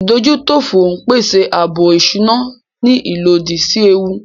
Ìdójútòfò ń pèsè ààbò ìṣúná ní ìlódì sí ewu